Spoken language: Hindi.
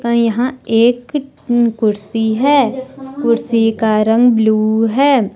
कई यहां एक कुर्सी है कुर्सी का रंग ब्लू है।